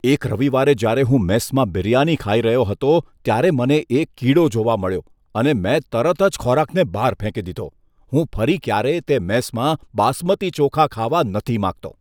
એક રવિવારે જ્યારે હું મેસમાં બિરયાની ખાઈ રહ્યો હતો, ત્યારે મને એક કીડો જોવા મળ્યો અને મેં તરત જ ખોરાકને બહાર ફેંકી દીધો. હું ફરી ક્યારેય તે મેસમાં બાસમતી ચોખા ખાવા નથી માંગતો.